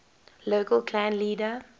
local clan leader